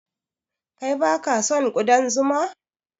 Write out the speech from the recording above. Kai baka son ƙudan zuma?